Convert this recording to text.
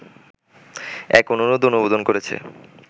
এক অনুরোধ অনুমোদন করেছে